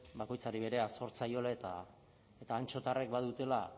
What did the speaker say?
bakoitzari berea zor zaiola eta antxotarrek badutela